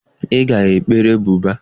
Ị ga-ekpere Buda.